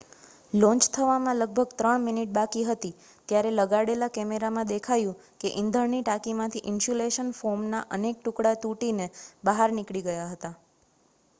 launch થવામાં લગભગ 3 minute બાકી હતી ત્યારે લગાડેલા કૅમેરામાં દેખાયું કે ઇંધણની ટાંકીમાંથી ઇન્સ્યુલેશન ફોમના અનેક ટુકડા તૂટીને બહાર નીકળી ગયા હતા